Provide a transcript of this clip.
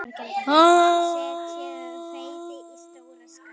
Setjið hveitið í stóra skál.